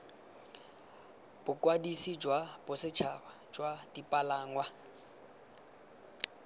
bokwadisi jwa bosetšhaba jwa dipalangwa